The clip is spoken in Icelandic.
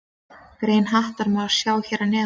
Grein Hattar má sjá hér að neðan.